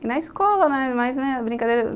E na escola, né?